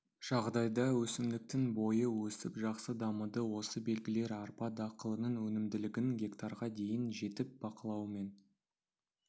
жағдайда өсімдіктің бойы өсіп жақсы дамыды осы белгілер арпа дақылының өнімділігінің гектарға дейін жетіп бақылаумен